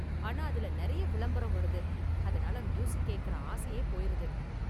ஆனா அதுல நெறைய விளம்பரம் வருது, அதனால மியூசிக் கேக்கற ஆசையே போயிருது.